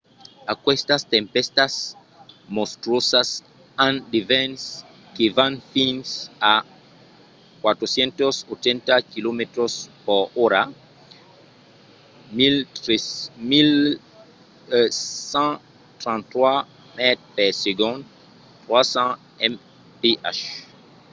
aquestas tempèstas monstruosas an de vents que van fins a 480 km/h 133 m/s; 300 mph